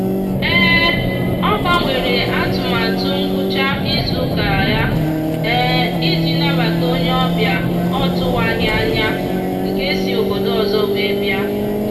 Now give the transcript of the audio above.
ọ gbanwere atụmatụ ngwụcha izuụka ya iji nabata onye obịa ọ tụwaghị anya nke si obodo ọzọ wee bịa.